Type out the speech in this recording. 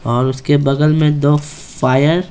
और उसके बगल में दो फायर --